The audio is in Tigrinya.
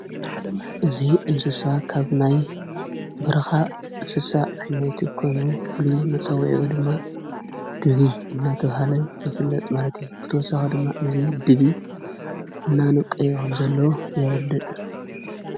እዙይ እንስሳ ካብናይ ብርኻ እንስሳ ዓይናይቲ ኮኑ ፍሉ መጸውአኦ ድማ ድቢ እናተውሃነ ይፍለጥ ማለት ብልሳኽ ድማ እዙይ ድቢ እናኑቀኦም ዘሎ የረድን።